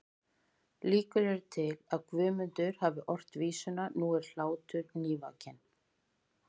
Líkur eru til að Guðmundur hafi ort vísuna Nú er hlátur nývakinn